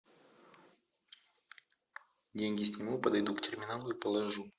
деньги сниму подойду к терминалу и положу